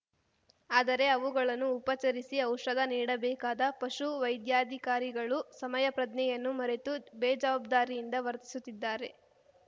ಆದರೆ ಅವುಗಳನ್ನು ಉಪಚರಿಸಿ ಔಷಧ ನೀಡಬೇಕಾದ ಪಶುವೈದ್ಯಾಧಿಕಾರಿಗಳು ಸಮಯಪ್ರಜ್ಞೆಯನ್ನು ಮರೆತು ಬೇಜವಾಬ್ದಾರಿಯಿಂದ ವರ್ತಿಸುತ್ತಿದ್ದಾರೆ